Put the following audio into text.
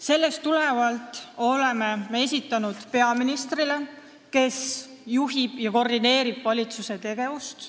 Sellest tulenevalt oleme me esitanud küsimused peaministrile, kes juhib ja koordineerib valitsuse tegevust.